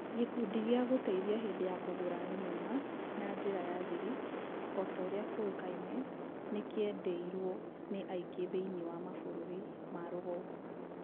Gĩkundi gĩa gũteithia hindĩ ya kũgũra nyũma na njĩra ya thirĩ, otorĩa kĩuĩkaine, nĩkĩrrndirwo nĩ aingĩ thĩinĩ wa mabũrũrĩ ma rũgongo.